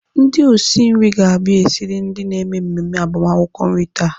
Ndị osi nri ga-abia esiri ndị na-eme mmemme agbamakwụkwọ nri taa.